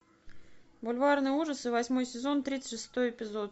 бульварные ужасы восьмой сезон тридцать шестой эпизод